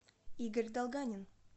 игорь долганин